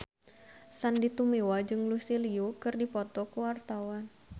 Sandy Tumiwa jeung Lucy Liu keur dipoto ku wartawan